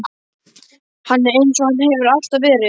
Hann er eins og hann hefur alltaf verið.